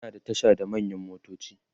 ana da Tasha na manyan motoci